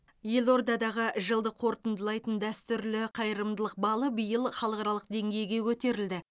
елордадағы жылды қорытындылайтын дәстүрлі қайырымдылық балы биыл халықаралық деңгейге көтерілді